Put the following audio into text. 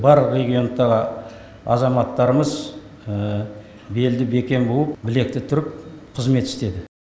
барлық региондағы азаматтарымыз белді бекем буып білекті түріп қызмет істеді